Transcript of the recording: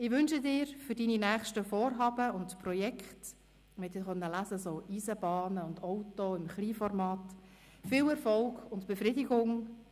Ich wünsche dir für deine nächsten Vorhaben und Projekte – man konnte lesen: Eisenbahnen und Autos im Kleinformat – viel Erfolg und Befriedigung;